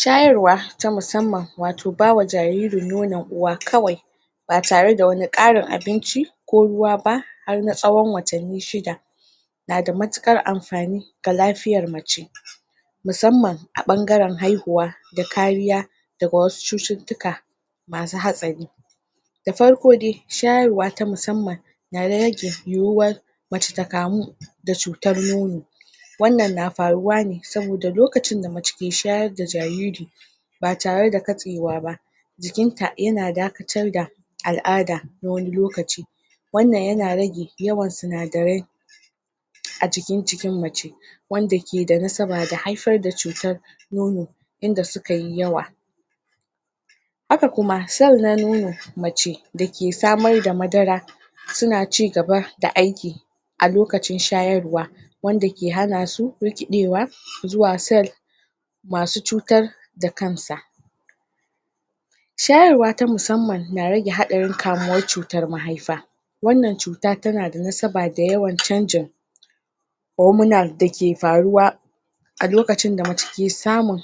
shayarwa ta musamman wato bawa jariri nonon uwa kawai ba tare da wani ƙarin abinci ko ruwa ba har na tsawan watanni shida nada matuƙar amfani ga lafiyar mace musamman a ɓangaran haihuwa da kariya daga wasu cututtuka masu hatsari da farko dai shayarwa ta musamman na rage yuwuwar mace ta kamu da cutar nono wannan na faruwa ne saboda lokacin da mace ke shayar da jariiri ba tare da katsewa ba jikinta yana dakatar da al'ada na wani lokaci wannan yana rage yawan sinadarai a jikin cikin mace wanda ke da nasaba da haifar da cutar nono inda sukayi yawa mace dake samar da madara suna cigaba da aiki a lokacin shayarwa wanda ke hanasu rikiɗewa zuwa cell masu cutar da kansa shayarwa ta musamman na rage haɗarin kamuwar da cutar mahaifa wannan cuta tana da nasaba da yawan canjin hormonal dake faruwa a loakcin da mace ke samun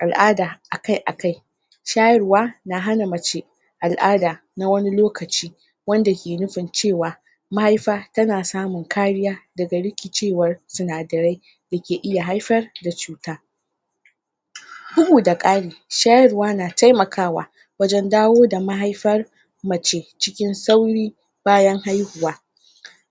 al'ada akai akai shayarwa na hana mace al'ada na wani lokaci wanda ke nufin cewa mahaifa tana samun kariya daga rikicewar sinadarai dake iya haifar da cuta bugu da ƙari shayarwa na taimakawa wajan dawo da mahaifar mace cikin cikin sauri bayan hauhuwa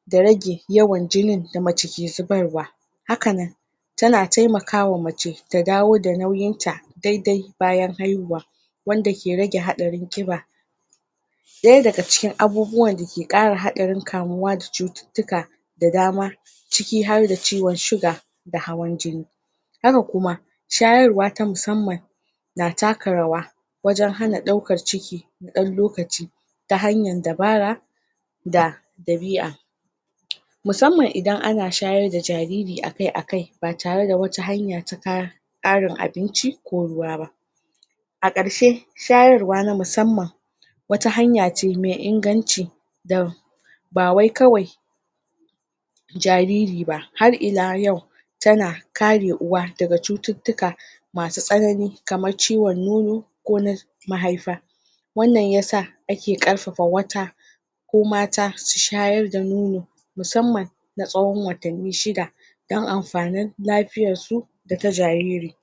da rage yawan jinin da mace ke zubarwa hakanan tana taimakawa mace ta dawo da nauyinta daidai bayan haihuwa wanda ke rage haɗarin ƙiba ɗaya da ciki abubuwan dake ƙara haarin kamuwa da cututtuka da dama ciki harda ciwan sugar da hawan jini haka kuma shayarwa ta musamman na taka rawa wajan hana ɗauakan ciki ɗab lokaci ta hanyan dabara da dabiya musamman idan ana shayar da jariri akai akai ba tare da wata hanya ta ta ƙarin abinci ko ruwa ba a ƙarshe shayarwa na musamman wata hanyace me ingance da ba wai kawai jariri ba har ila yau tana kare uwa daga cututtuka masu tsanani kamar ciwan nono ko na mahaifa wannan yasa ake ƙarfafa wata ko mata su shayar da nono musamman na tsawan watanni shida dan amfanin lafiyarsu data jariri